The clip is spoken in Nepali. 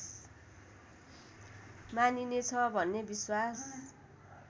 मानिनेछ भन्ने विश्वास